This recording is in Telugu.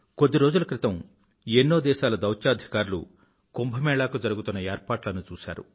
కొద్ది రోజుల క్రితం ఎన్నో దేశాల దౌత్యాధికారులు కుంభ మేళా కు జరుగుతున్న ఏర్పాట్లను చూశారు